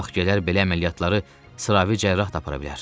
Vaxt gələr belə əməliyyatları sıravi cərrah da apara bilər.